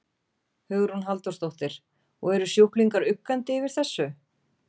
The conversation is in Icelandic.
Hugrún Halldórsdóttir: Og eru sjúklingar uggandi yfir þessu?